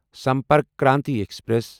Sampark Kranti express